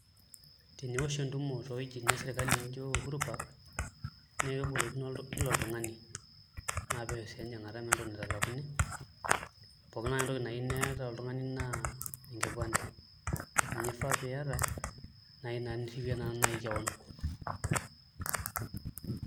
Teniosh entumo toowuejitin esirkali nijio Uhuru Park naa kebolokino kila oltung'ani naa pesho sii enjing'ata meeta entoki naitalakuni pookin ake entoki nayieu niata oltung'ani naa enkipande ninye ifaa piiyata naai naa nirripie naai keon.